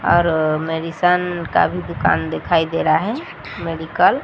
और मेडिसन का भी दुकान दिखाई दे रहा है मेडिकल --